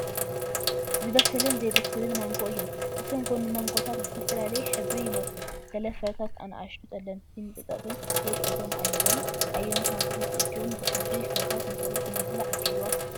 ዝበሰለን ዘይበሰለን ማንጎ እዮም። እቶም ማንጎታት ብዝተፈላለየ ሕብሪ ይመጹ፤ ገለ ፍረታት ንኣሽቱ ጸለምቲ ነጠብጣባት ወይ ጸገም ኣለዎም። ኣየኖት ማንጎታት እዮም ብሕብሪ ፍረታት መሰረት ንምብላዕ ድሉዋት ዝኾኑ?